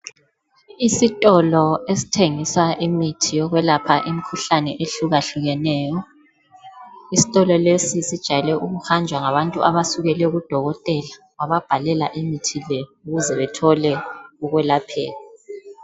Isitolo esithengisa imithi yokwelapha imkhuhlane ehlukahlukeneyo isitolo lesi sijayele ukuhanjwa ngabantu abasukele kudokotela wababhalela imithi le ukuze bethole ukwelapheka.